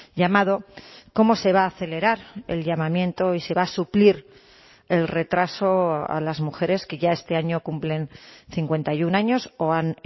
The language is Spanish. llamado cómo se va a acelerar el llamamiento y se va a suplir el retraso a las mujeres que ya este año cumplen cincuenta y uno años o han